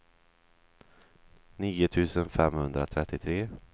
nio tusen femhundratrettiotre